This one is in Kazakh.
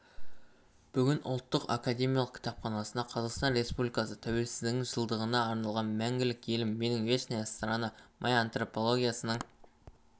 бүгін ұлттық академиялық кітапханасында қазақстан республикасы тәуелсіздігінің жылдығына арналған мәңгілік елім менің вечная страна моя антологиясының